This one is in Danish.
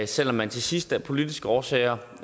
selv om man til sidst af politiske årsager